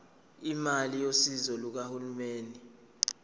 imali yosizo lukahulumeni